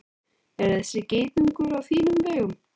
Er þessi geitungur á þínum vegum?